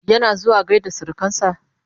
yana zuwa gaida surukansa?